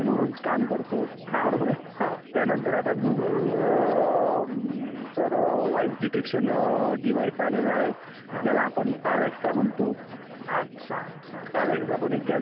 म्हणजे तिकडच्या मेसोपोटीयन संस्कृती म्हणा किंवा इजिप्शिअन संस्कृती म्हणा किंवा चायनीज संस्कृती म्हणा तिकडे निवडणुकीची प्रक्रिया तेव्हढी नव्हती तेव्हढी आपल्या देशात होती.